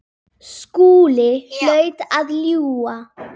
Skúli hlaut að ljúga.